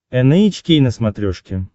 эн эйч кей на смотрешке